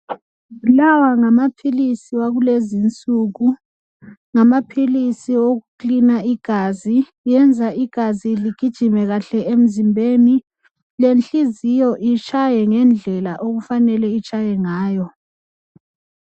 Lawa ngamaphilisi wakulezi insuku ngamaphilisi wokuklina igazi ,kwenza igazi ligijime kuhle emzimbeni lenhliziyo itshaye ngendlela okufanele itshaye ngayo.